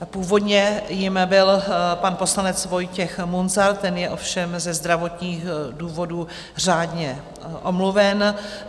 Původně jím byl pan poslanec Vojtěch Munzar, ten je všem ze zdravotních důvodů řádně omluven.